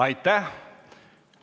Aitäh!